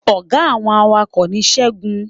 Ọ̀gá àwọn awakọ̀ ni segun